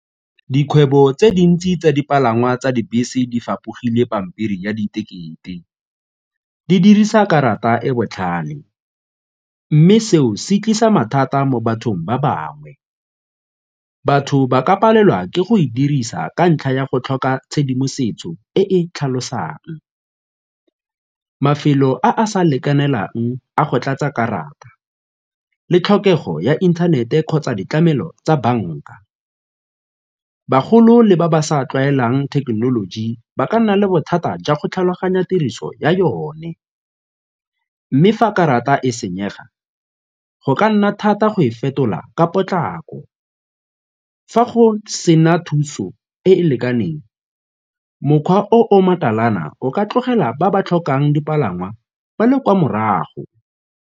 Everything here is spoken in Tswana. Dikgwebo tse dintsi tsa dipalangwa tsa dibese di fapogile pampiri ya diketekete, di dirisa karata e botlhale mme seo se tlisa mathata mo bathong ba bangwe. Batho ba ka palelwa ke go e dirisa ka ntlha ya go tlhoka tshedimosetso e e tlhalosang, mafelo a a sa lekanelang a go tlatsa karata le tlhokego ya inthanete kgotsa ditlamelo tsa banka. Bagolo le ba ba sa tlwaelang thekenoloji ba ka nna le bothata jwa go tlhaloganya tiriso ya yone mme fa karata e senyega go ka nna thata go e fetola ka potlako. Fa go sena thuso e e lekaneng, mokgwa o o makalana o ka tlogela ba ba tlhokang dipalangwa ba le kwa morago.